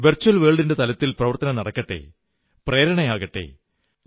virtual ലോകത്തിന്റെ തലത്തിൽ പ്രവർത്തനം നടക്കട്ടെ പ്രേരണയാകട്ടെ